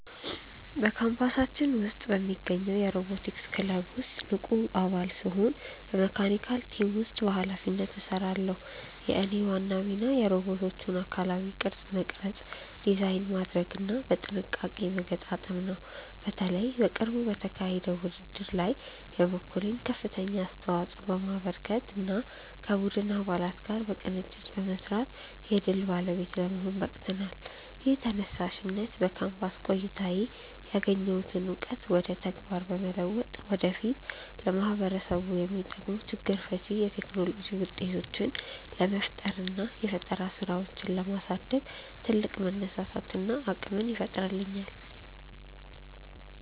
በካምፓሳችን ውስጥ በሚገኘው የሮቦቲክስ ክለብ ውስጥ ንቁ አባል ስሆን በመካኒካል ቲም ውስጥ በኃላፊነት እሰራለሁ። የእኔ ዋና ሚና የሮቦቶቹን አካላዊ ቅርጽ መቅረጽ፣ ዲዛይን ማድረግና በጥንቃቄ መገጣጠም ነው። በተለይ በቅርቡ በተካሄደው ውድድር ላይ የበኩሌን ከፍተኛ አስተዋጽኦ በማበርከትና ከቡድን አባላት ጋር በቅንጅት በመስራት የድል ባለቤት ለመሆን በቅተናል። ይህ ተነሳሽነት በካምፓስ ቆይታዬ ያገኘሁትን እውቀት ወደ ተግባር በመለወጥ ወደፊት ለማህበረሰቡ የሚጠቅሙ ችግር ፈቺ የቴክኖሎጂ ውጤቶችን ለመፍጠርና የፈጠራ ስራዎችን ለማሳደግ ትልቅ መነሳሳትንና አቅምን ይፈጥርልኛል።